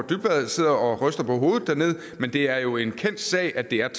dybvad sidder og ryster på hovedet dernede men det er jo en kendt sag at det er